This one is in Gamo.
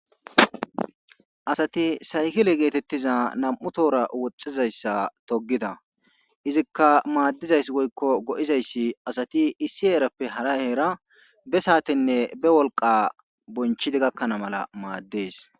asati saykile geetettiza nam7u toora woxxizayssa togida izikka maaddizayss woykko go7izayssi asati issi heerappe hara heera be saatinne be wolqa bonchidi gakkana mala maaddees